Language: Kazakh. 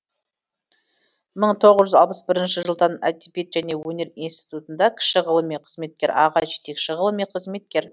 мың тоғыз жүз алпыс бірінші жылдан әдебиет және өнер институтында кіші ғылыми қызметкер аға жетекші ғылыми қызметкер